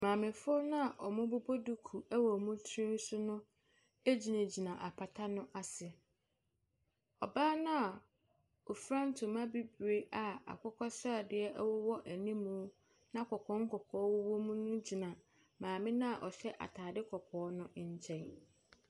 Maamefoɔ no a wɔbɔ duku wɔ wɔn tiri so no gyina apata bi ase. Ɔbaa no a ofura ntoma bibire a akokɔsradeɛ wowɔ anim na nkɔkɔɔ nkɔkɔɔ wɔ mu no gyina maame no a ɔhyɛ ataade kɔkɔɔ no nkyɛn.